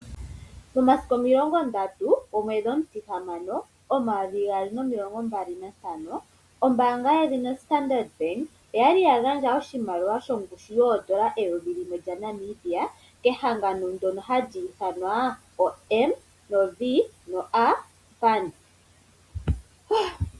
Omasiku omilongondatu gomwedhi omutihamano omayovi gaali nomilongo mbali nantano ombaanga yedhina Standard oyali yagandja oshimaliwa shongushu yoondola eyovi limwe lya Namibia kehangano ndono hali ithanwa MVA